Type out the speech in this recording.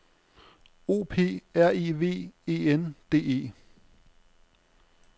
O P R I V E N D E